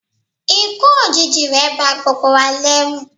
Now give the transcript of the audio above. ikú òjijì rẹ̀ ba gbogbo wa lẹ́rù